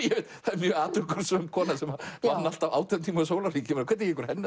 er mjög atorkusöm kona sem vann alltaf átján tíma á sólarhring hvernig gengur henni